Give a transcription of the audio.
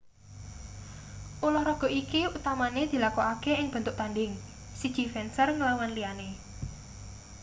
ulahraga iki utamane dilakokake ing bentuk tandhing siji fencer nglawan liyane